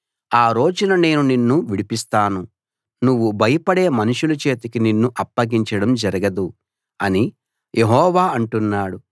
ఆ రోజున నేను నిన్ను విడిపిస్తాను నువ్వు భయపడే మనుషుల చేతికి నిన్ను అప్పగించడం జరగదు అని యెహోవా అంటున్నాడు